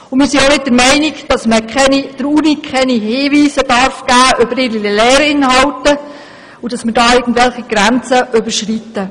Wir sind auch nicht der Meinung, man dürfe der Universität keine Hinweise zu ihren Lehrinhalten geben und wir würden damit irgendwelche Grenzen überschreiten.